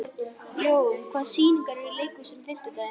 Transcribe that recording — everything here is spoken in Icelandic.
Jón, hvaða sýningar eru í leikhúsinu á fimmtudaginn?